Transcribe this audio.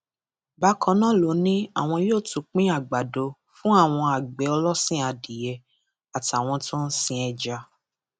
bákan náà ló ní àwọn yóò tún pín àgbàdo fún àwọn àgbẹ ọlọsìn adìẹ àtàwọn tó ń sin ẹja